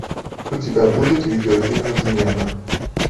у тебя будет видеофильм измена